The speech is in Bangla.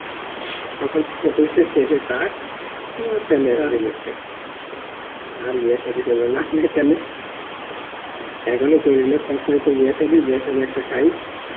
তখন ছেলের টাক তালে rejected, আর বিয়া সাদি হলো না তালে এখন ই করে লেনতার চাইতে বিয়া সাদি একটা খাই